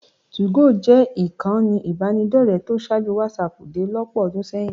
2go jẹ́ ìkànnì ìbánidọ́rẹ̀ẹ́ tó ṣáájú wásaàpù dé lọ́pọ̀ ọdún sẹ́yìn.